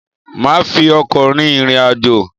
Maa fi ọkọ̀ rin ìrìn àjò